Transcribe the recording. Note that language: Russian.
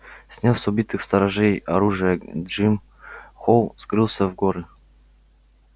сняв с убитых сторожей оружие джим холл скрылся в горы